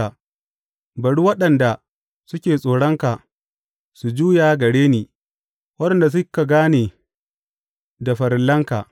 Bari waɗanda suke tsoronka su juya gare ni, waɗanda suka gane da farillanka.